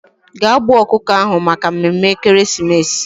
Ga gbuo okuko ahu Maka mmemme ekeresimesi